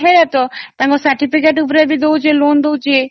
ତାଙ୍କ certificate ଉପରେ ବି loan ଦେଉଛି